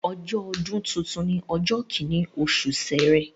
Ọjọ́ ọdún tuntun ni ọjọ́ kíní oṣù Ṣẹrẹ